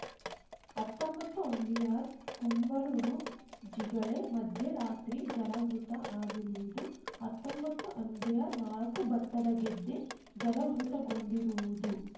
ಹತ್ತೊಂಬತ್ತುಅಂಬಿಯಾರ್‌ ಕುಂಬಳೂರು ಜಿಗಳೆ ಮಧ್ಯೆ ರಾತ್ರೆ ಜಲವೃತ ಆಗಿರುವುದು ಹತ್ತೊಂಬತ್ತುಅಂಬಿಯಾರ್‌ನಾಲ್ಕು ಭತ್ತದ ಗದ್ದೆ ಜಲವೃತಗೊಂಡಿರುವುದು